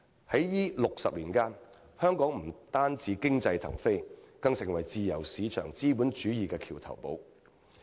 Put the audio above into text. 在這60年間，香港不單經濟騰飛，更成為自由市場資本主義的橋頭堡。